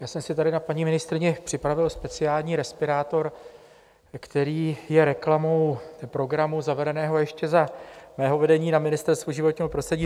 Já jsem si tady na paní ministryni připravil speciální respirátor, který je reklamou programu zavedeného ještě za mého vedení na Ministerstvu životního prostředí